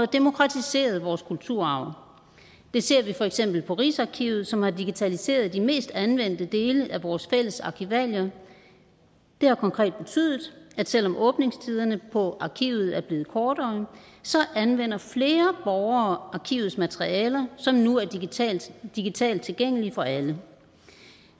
demokratiseret vores kulturarv det ser vi for eksempel på rigsarkivet som har digitaliseret de mest anvendte dele af vores fælles arkivalier det har konkret betydet at selv om åbningstiderne på arkivet er blevet kortere anvender flere borgere arkivets materialer som nu er digitalt digitalt tilgængelige for alle